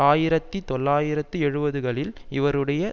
ஆயிரத்தி தொள்ளாயிரத்து எழுபதுகளில் இவருடைய